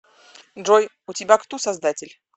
джой у тебя кто создатель